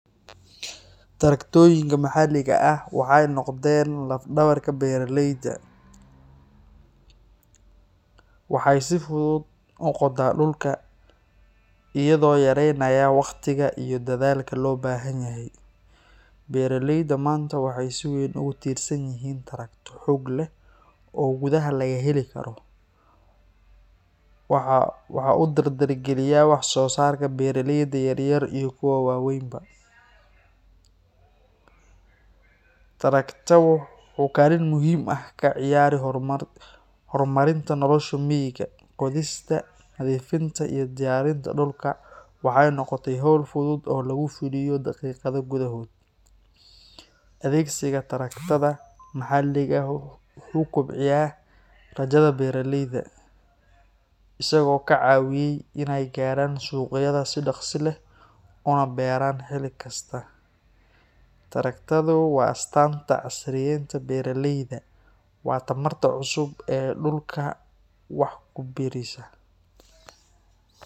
Traktoyinka maxalliga ah waxay noqden laf-dhabarta beeraleyda . Waxay si fudud u qotaa dhulka, isagoo yareynaya waqtiga iyo dadaalka loo baahanyahay. Beeraleyda maanta waxay si weyn ugu tiirsan yihiin traktarro xoog leh oo gudaha laga heli karo. Waxaa uu dardargeliyaa wax-soosaarka beeraleyda yar yar iyo kuwa waaweynba. Traktarka wuxuu kaalin muhiim ah ka ciyaaraa horumarinta nolosha miyiga. Qodista, nadiifinta iyo diyaarinta dhulka waxay noqotay hawl fudud oo lagu fuliyo daqiiqado gudahood. Adeegsiga traktada maxalliga ah wuxuu kobciyay rajada beeraleyda, isagoo ka caawiyay in ay gaaraan suuqyada si dhaqso leh una beeraan xilli kasta. Traktarradu waa astaanta casriyeynta beeraleyda Soomaalida – waa tamarta cusub ee dhulka wax ku biirisa.